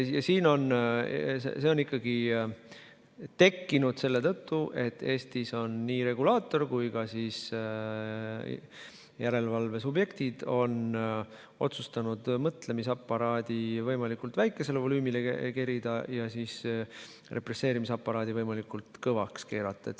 Ja see on tekkinud ikkagi selle tõttu, et Eestis on nii regulaator kui ka järelevalve subjektid otsustanud mõtlemisaparaadi võimalikult väikesele volüümile kerida ja represseerimisaparaadi võimalikult valjuks keerata.